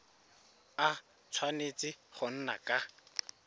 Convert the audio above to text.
a tshwanetse go nna ka